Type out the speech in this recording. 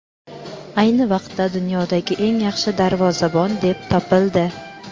ayni vaqtda dunyodagi eng yaxshi darvozabon deb topildi.